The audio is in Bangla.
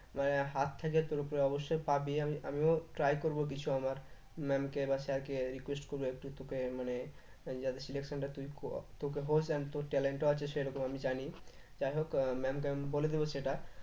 মানে থেকে তোর উপর অবশ্যই পাবি আমি আমিও try করবো কিছু আমার ma'am কে বা sir কে request করবো একটু তোকে মানে যাতে selection টা তুই তোর talent ও আছে সেরকম আমি জানি যাইহোক আহ ma'am কে আমি বলে দেব সেটা